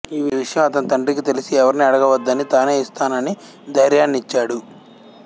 ఈ విషయం అతని తండ్రికి తెలిసి ఎవరినీ అడగవద్దనీ తానే ఇస్తాననీ ధైర్యాన్నిచ్చాడు